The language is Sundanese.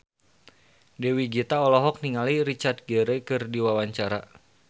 Dewi Gita olohok ningali Richard Gere keur diwawancara